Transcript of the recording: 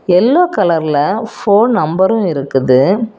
Yellow கலர்ல phone நம்பரும் இருக்குது.